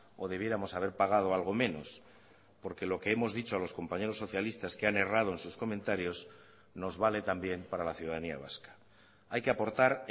o debiéramos haber pagado algo menos porque lo que hemos dicho a los compañeros socialistas que han errado en sus comentarios nos vale también para la ciudadanía vasca hay que aportar